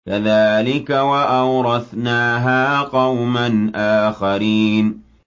كَذَٰلِكَ ۖ وَأَوْرَثْنَاهَا قَوْمًا آخَرِينَ